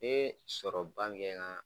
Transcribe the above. Ne ye sɔrɔ ba min kɛ n ka